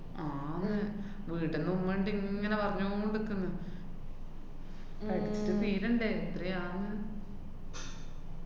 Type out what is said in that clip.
ആന്ന് വിടണോ വേണ്ടെ ങ്ങനെ പറഞ്ഞോണ്ട്ക്ക്ന്ന്. പഠിച്ചിട്ട് തീരണ്ടെ? എത്രയാന്ന്